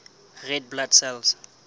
red blood cells